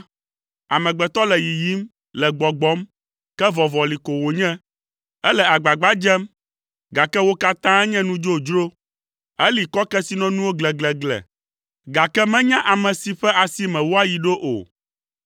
“Amegbetɔ le yiyim, le gbɔgbɔm, ke vɔvɔli ko wònye. Ele agbagba dzem, gake wo katã nye nu dzodzro Eli kɔ kesinɔnuwo gleglegle, gake menya ame si ƒe asi me woayi ɖo o.